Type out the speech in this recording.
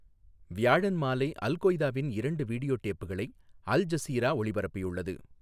வியாழன் மாலை அல் கொய்தாவின் இரண்டு வீடியோ டேப்களை அல் ஜசீரா ஒளிபரப்பியுள்ளது.